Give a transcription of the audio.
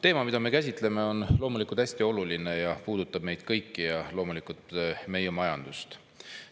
Teema, mida me käsitleme, on hästi oluline, see puudutab meid kõiki ja loomulikult ka meie majandust.